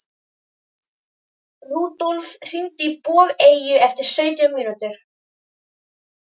Rúdólf, hringdu í Bogeyju eftir sautján mínútur.